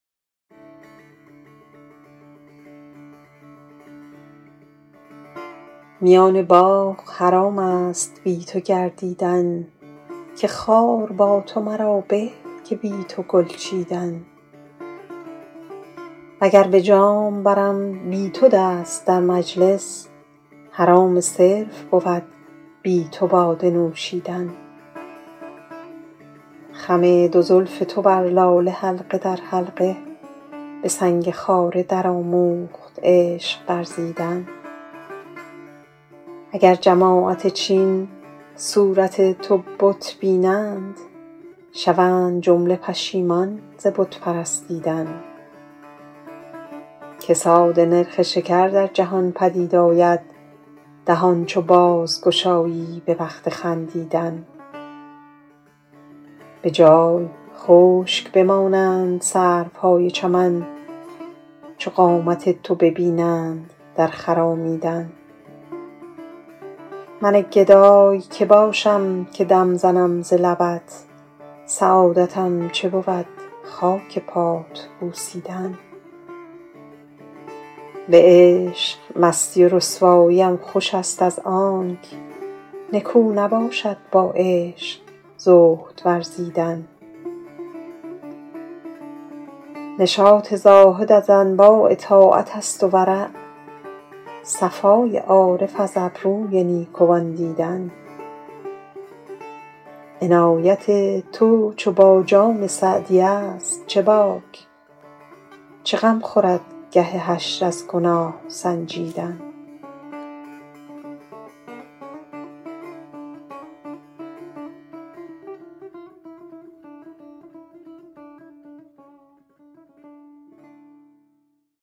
میان باغ حرام است بی تو گردیدن که خار با تو مرا به که بی تو گل چیدن و گر به جام برم بی تو دست در مجلس حرام صرف بود بی تو باده نوشیدن خم دو زلف تو بر لاله حلقه در حلقه به سنگ خاره درآموخت عشق ورزیدن اگر جماعت چین صورت تو بت بینند شوند جمله پشیمان ز بت پرستیدن کساد نرخ شکر در جهان پدید آید دهان چو بازگشایی به وقت خندیدن به جای خشک بمانند سروهای چمن چو قامت تو ببینند در خرامیدن من گدای که باشم که دم زنم ز لبت سعادتم چه بود خاک پات بوسیدن به عشق مستی و رسواییم خوش است از آنک نکو نباشد با عشق زهد ورزیدن نشاط زاهد از انواع طاعت است و ورع صفای عارف از ابروی نیکوان دیدن عنایت تو چو با جان سعدی است چه باک چه غم خورد گه حشر از گناه سنجیدن